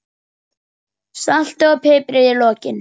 Saltið og piprið í lokin.